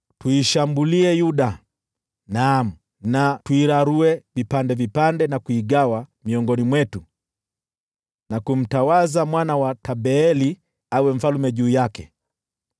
“Tuishambulie Yuda, naam, tuirarue vipande vipande na kuigawa miongoni mwetu, na kumtawaza mwana wa Tabeeli awe mfalme juu yake.”